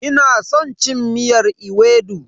Ina san cin miyar ewedu.